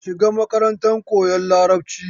Ka shiga makarantar koyan Larabci!